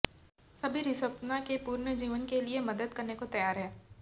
सभी रिस्पना के पुनर्जीवन के लिए मदद करने को तैयार हैं